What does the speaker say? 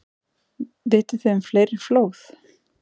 Vitið þið um fleiri flóð?